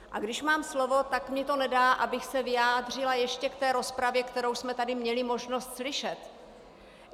A když mám slovo, tak mi to nedá, abych se nevyjádřila ještě k té rozpravě, kterou jsme tady měli možnost slyšet.